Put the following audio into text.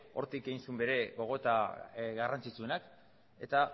hortik egin zuen bere gogoeta garrantzitsuenak eta